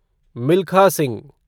Milkha Singh